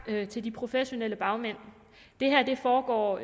til de professionelle bagmænd det her foregår